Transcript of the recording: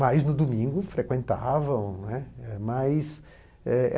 Mas, no domingo, frequentavam, né. Mais